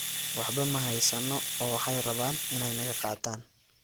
Waxba ma haysano, oo waxay rabaan inay naga qaataan.